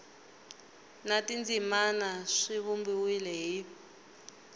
na tindzimana swi vumbiwile hi